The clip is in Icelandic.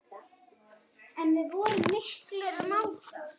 En við vorum miklir mátar.